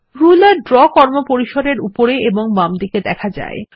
ruler draw কর্মপরিসর এর উপরে এবং বামদিকে দেখা যায়